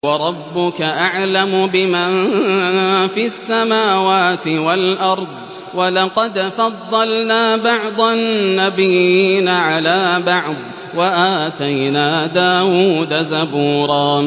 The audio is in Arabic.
وَرَبُّكَ أَعْلَمُ بِمَن فِي السَّمَاوَاتِ وَالْأَرْضِ ۗ وَلَقَدْ فَضَّلْنَا بَعْضَ النَّبِيِّينَ عَلَىٰ بَعْضٍ ۖ وَآتَيْنَا دَاوُودَ زَبُورًا